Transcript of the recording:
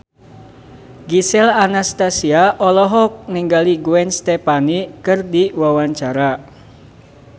Gisel Anastasia olohok ningali Gwen Stefani keur diwawancara